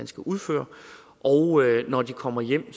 skal udføre når de kommer hjem